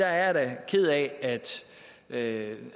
er ked af at